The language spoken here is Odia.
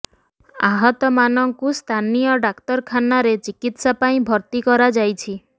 ଆହତ ମାନଙ୍କୁ ସ୍ଥାନୀୟ ଡାକ୍ତରଖାନାରେ ଚିକିତ୍ସା ପାଇଁ ଭର୍ତ୍ତି କରାଯାଇଛି